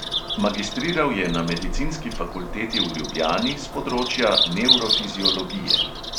Magistriral je na medicinski fakulteti v ljubljani s področja nevrofiziologije.